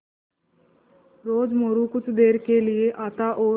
रोज़ मोरू कुछ देर के लिये आता और